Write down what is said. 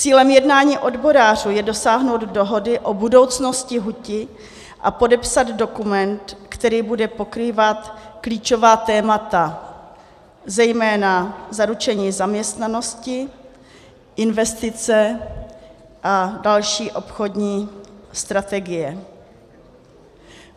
Cílem jednání odborářů je dosáhnout dohody o budoucnosti huti a podepsat dokument, který bude pokrývat klíčová témata, zejména zaručení zaměstnanosti, investice a další obchodní strategii.